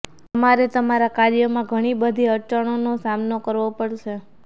તમારે તમારા કાર્યોમાં ઘણી બધી અડચણનો સામનો કરવો પડશે